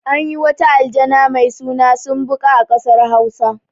Anyi wata aljana mai suna sumbuƙa a ƴasar hausa